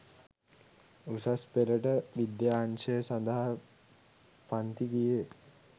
උසස් පෙළට විද්‍යා අංශය සඳහා පන්ති ගියේ.